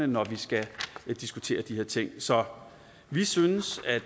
når vi skal diskutere de her ting så vi synes at